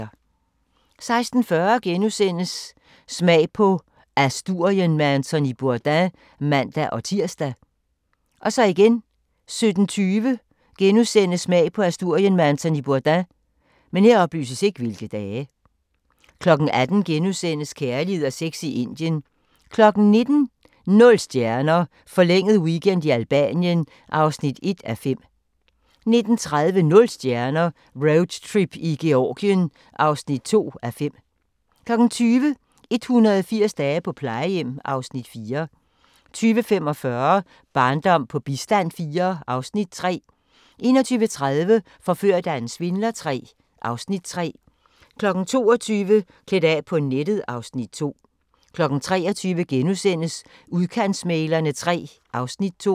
16:40: Smag på Asturien med Anthony Bourdain *(man-tir) 17:20: Smag på Asturien med Anthony Bourdain * 18:00: Kærlighed og sex i Indien * 19:00: Nul stjerner – forlænget weekend i Albanien (1:5) 19:30: Nul stjerner - Roadtrip i Georgien (2:5) 20:00: 180 dage på plejehjem (Afs. 4) 20:45: Barndom på bistand IV (Afs. 3) 21:30: Forført af en svindler III (Afs. 3) 22:00: Klædt af på nettet (Afs. 2) 23:00: Udkantsmæglerne III (Afs. 2)*